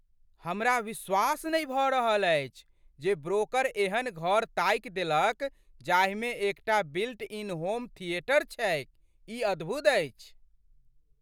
हमरा विश्वास नहि भऽ रहल अछि जे ब्रोकर एहन घर ताकि देलक जाहिमे एकटा बिल्ट इन होम थिएटर छैक। ई अद्भुत अछि!